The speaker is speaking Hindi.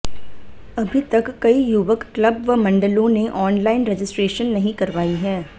अभी तक कई युवक क्लब व मंडलों ने ऑनलाइन रजिस्ट्रेशन नहीं करवाई है